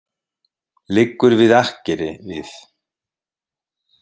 Liggur við akkeri við